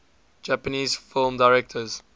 japanese film directors